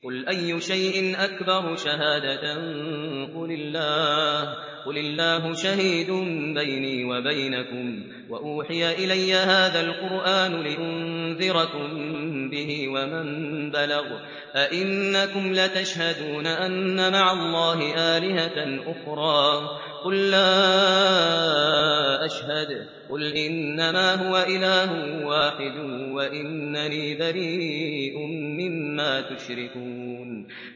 قُلْ أَيُّ شَيْءٍ أَكْبَرُ شَهَادَةً ۖ قُلِ اللَّهُ ۖ شَهِيدٌ بَيْنِي وَبَيْنَكُمْ ۚ وَأُوحِيَ إِلَيَّ هَٰذَا الْقُرْآنُ لِأُنذِرَكُم بِهِ وَمَن بَلَغَ ۚ أَئِنَّكُمْ لَتَشْهَدُونَ أَنَّ مَعَ اللَّهِ آلِهَةً أُخْرَىٰ ۚ قُل لَّا أَشْهَدُ ۚ قُلْ إِنَّمَا هُوَ إِلَٰهٌ وَاحِدٌ وَإِنَّنِي بَرِيءٌ مِّمَّا تُشْرِكُونَ